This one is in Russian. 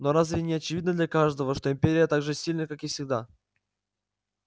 но разве не очевидно для каждого что империя так же сильна как и всегда